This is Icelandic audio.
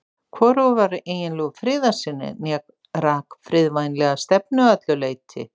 Hvorugur var eiginlegur friðarsinni né rak friðvænlega stefnu að öllu leyti.